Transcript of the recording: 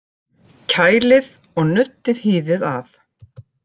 Kælið og nuddið hýðið af